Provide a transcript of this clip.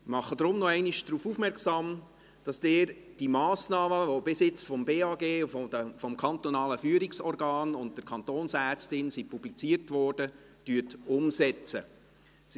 Deshalb mache ich nochmals darauf aufmerksam, dass Sie die Massnahmen, welche bisher vom Bundesamt für Gesundheit (BAG), dem Kantonalen Führungsorgan (KFO) und der Kantonsärztin publiziert wurden, umsetzen sollten.